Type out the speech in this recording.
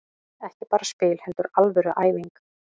Ekki bara spil heldur alvöru æfing.